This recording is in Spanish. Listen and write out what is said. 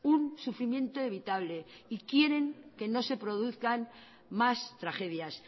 un sufrimiento evitable y quieren que no se produzcan más tragedias